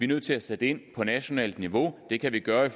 nødt til at sætte ind på nationalt niveau og det kan vi gøre